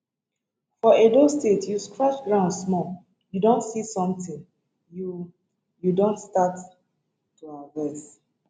for edo state you scratch ground small you don see somtin you you don start to harvest